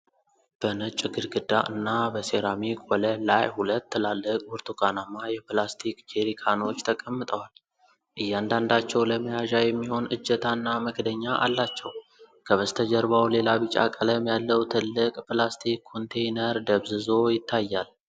በነጭ ግድግዳ እና በሴራሚክ ወለል ላይ ሁለት ትላልቅ ብርቱካናማ የፕላስቲክ ጀሪካኖች ተቀምጠዋል። እያንዳንዳቸው ለመያዣ የሚሆን እጀታ እና መክደኛ አላቸው። ከበስተጀርባው ሌላ ቢጫ ቀለም ያለው ትልቅ ፕላስቲክ ኮንቴይነር ደብዝዞ ይታያል።